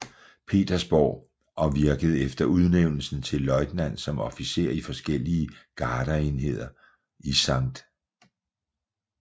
Petersborg og virkede efter udnævnelsen til løjtnant som officer i forskellige gardeenheder i St